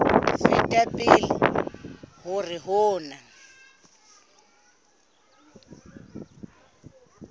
feta pele hore ho na